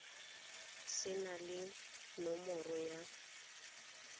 se nang le nomoro ya